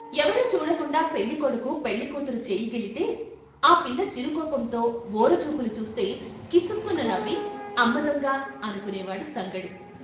ఎవరూ చూడకుండా పెళ్ళి కొడుకు పెళ్ళి కూతురు చెయ్యి గిల్లితే ఆ పిల్ల చిరు కోపంతో వోర చూపులు చూస్తే కిసుక్కున నవ్వి "అమ్మ దొంగ" అనుకునే వాడు సంగడు.